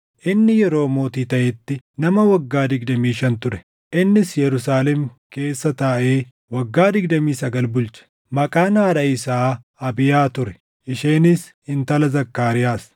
Inni Yeroo mootii taʼetti nama waggaa digdamii shan ture; innis Yerusaalem keessa taaʼee waggaa digdamii sagal bulche. Maqaan haadha isaa Abiiyaa ture; isheenis intala Zakkaariyaas.